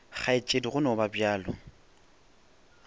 kgaetšedi go no ba bjalo